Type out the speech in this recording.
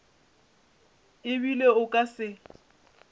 e bile o ka se